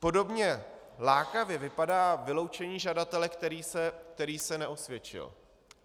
Podobně lákavě vypadá vyloučení žadatele, který se neosvědčil.